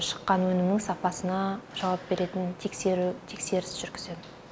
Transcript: шыққан өнімнің сапасына жауап беретін тексеріс жүргіземін